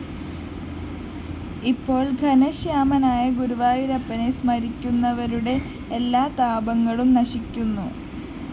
ഇപ്പോള്‍ ഘനശ്യാമനായ ഗുരുവായൂരപ്പനെ സ്മരിക്കുന്നവരുടെ എല്ലാ താപങ്ങളും നശിക്കുന്നു